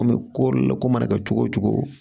An bɛ ko la ko mana kɛ cogo o cogo